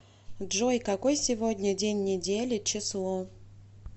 джой какой сегодня день недели число